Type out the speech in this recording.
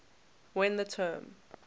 when the term